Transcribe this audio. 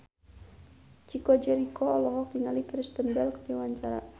Chico Jericho olohok ningali Kristen Bell keur diwawancara